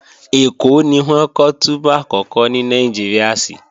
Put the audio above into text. Ẹ̀kọ́ ni wọ́n kọ́ túbú àkọ́kọ́ ní Nàìjíríà sí